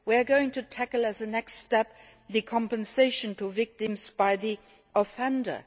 We are going to tackle as a next step the compensation to victims by the offender.